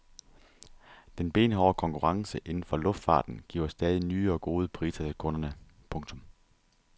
Den benhårde konkurrence inden for luftfarten giver stadig nye og gode priser til kunderne. punktum